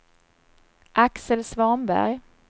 Axel Svanberg